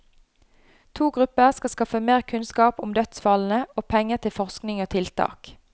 To grupper skal skaffe mer kunnskap om dødsfallene, og penger til forskning og tiltak.